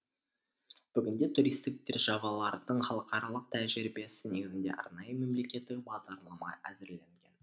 бүгінде туристік державалардың халықаралық тәжірибесі негізінде арнайы мемлекеттік бағдарлама әзірленген